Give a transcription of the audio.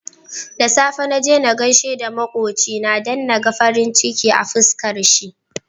Da safe naje na gaishe da makocina dan naga farin ciki a fiskar shi